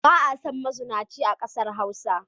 Ba a son mazunaci a ƙasar Hausa.